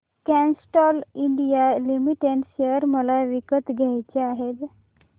Castrol India limited share मला विकत घ्यायचे आहेत